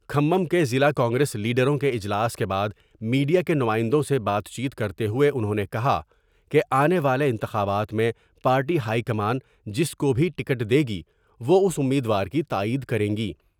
کھمم کے ضلع کانگریس لیڈروں کے اجلاس کے بعد میڈیا کے نمائندوں سے بات چیت کرتے ہوۓ انہوں نے کہا کہ آنے والے انتخابات میں پارٹی ہائی کمان جس کو بھی ٹکٹ دے گی وہ اس امید وار کی تائید کریںگی ۔